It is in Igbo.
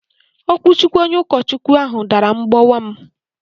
Okwuchukwu onye ukochukwu ahụ dàrà mgbowa m